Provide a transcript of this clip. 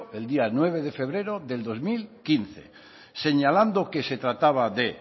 el día nueve de febrero de dos mil quince señalando que se trataba de